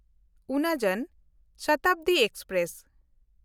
ᱩᱱᱟ ᱡᱚᱱ ᱥᱚᱛᱟᱵᱫᱤ ᱮᱠᱥᱯᱨᱮᱥ